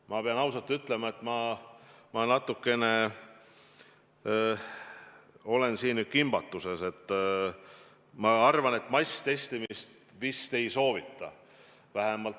Ma pean ausalt ütlema, et ma olen natukene kimbatuses, sest ma arvan, et masstestimist vist ei soovita.